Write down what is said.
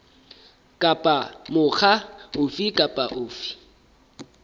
kapa mokga ofe kapa ofe